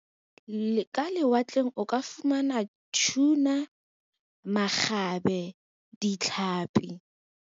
Ka lewatleng o ka fumana tuna, makgabe, ditlhapi.